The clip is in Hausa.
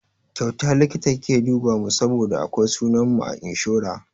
Kyauta likita ya duba mu saboda akwai sunan mu a inshora.